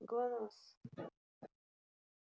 глонассс